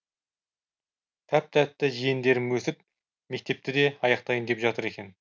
тәп тәтті жиендерім өсіп мектепті де аяқтайын деп жатыр екен